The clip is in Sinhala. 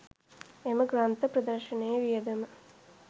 එම ග්‍රන්ථ ප්‍රදර්ශනයේ වියදම